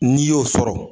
N'i y'o sɔrɔ